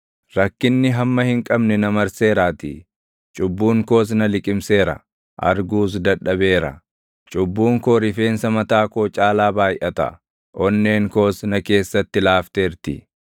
Rakkinni hamma hin qabne na marseeraatii; cubbuun koos na liqimseera; arguus dadhabeera; cubbuun koo rifeensa mataa koo caalaa baayʼata; onneen koos na keessatti laafteerti.